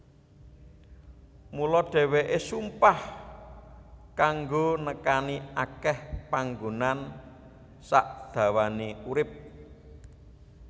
Mula dhèwèké sumpah kanggo nekani akèh panggonan sakdawané urip